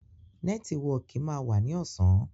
Nẹ́tíwọkì máa wá ní ọ̀sán